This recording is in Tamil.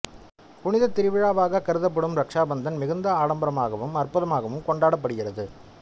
புனித திருவிழாவாக கருதப்படும் ரக்சா பந்தன் மிகுந்த ஆடம்பரமாகவும் அற்புதமாகவும் கொண்டாடப்படுகிறது